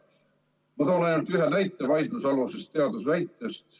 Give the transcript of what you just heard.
Ma toon ainult ühe näite vaidlusalusest teaduse väitest.